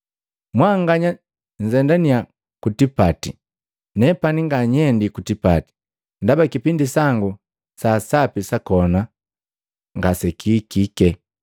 Mwanganya nnzendaniya ku tipati. Nepani nganyendi ku tipati, ndaba kipindi sangu saasapi sakona ngasekihikike.”